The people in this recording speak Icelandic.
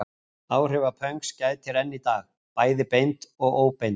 Áhrifa pönks gætir enn í dag, bæði beint og óbeint.